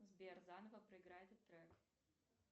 сбер заново проиграй этот трек